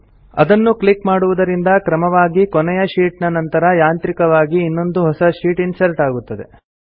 ಅದನ್ನು ಕ್ಲಿಕ್ ಮಾಡುವುದರಿಂದ ಕ್ರಮವಾಗಿ ಕೊನೆಯ ಶೀಟ್ ನ ನಂತರ ಯಾಂತ್ರಿಕವಾಗಿ ಇನ್ನೊಂದು ಹೊಸ ಶೀಟ್ ಇನ್ಸರ್ಟ್ ಆಗುತ್ತದೆ